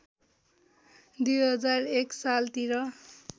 २००१ सालतिर